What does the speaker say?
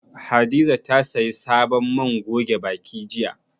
Hadiza ta sayi sabon man goge baki jiya.